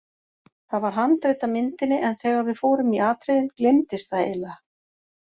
Það var handrit að myndinni en þegar við fórum í atriðin gleymdist það eiginlega.